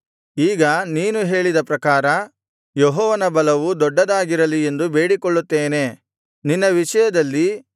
ಈಗ ನೀನು ಹೇಳಿದ ಪ್ರಕಾರ ಯೆಹೋವನ ಬಲವು ದೊಡ್ಡದಾಗಿರಲಿ ಎಂದು ಬೇಡಿಕೊಳ್ಳುತ್ತೇನೆ ನಿನ್ನ ವಿಷಯದಲ್ಲಿ